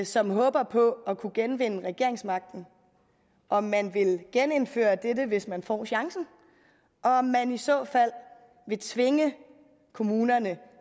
som håber på at kunne genvinde regeringsmagten om man vil genindføre dette hvis man får chancen og om man i så fald vil tvinge kommunerne